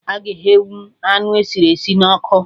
Aga eghenwụ anụ esiri esi na ọkụ